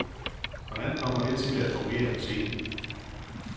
Hvordan kommer det til at fungere på scenen?